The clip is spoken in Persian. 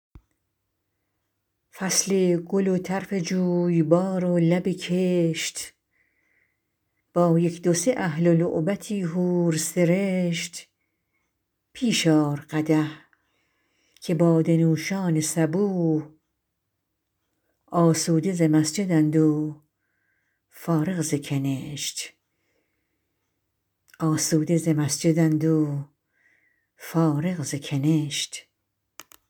فصل گل و طرف جویبار و لب کشت با یک دو سه اهل و لعبتی حور سرشت پیش آر قدح که باده نوشان صبوح آسوده ز مسجد ند و فارغ ز کنشت